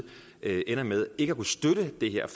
ender med ikke at kunne støtte det her